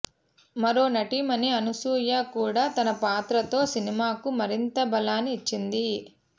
మరో నటీమణి అనసూయ కూడా తన పాత్రతో సినిమాకు మరింత బలాన్ని ఇచ్చింది